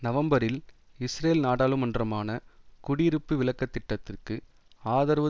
நவம்பரில் இஸ்ரேல் நாடாளுமன்றமான குடியிருப்பு விலக்கத் திட்டத்திற்கு ஆதரவு